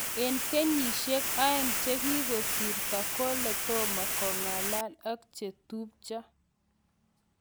en kenyisieg aeng chekigosirta, kole toma kongalal ak chetupcho